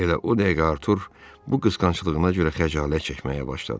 Elə o dəqiqə Artur bu qısqanclığına görə xəcalət çəkməyə başladı.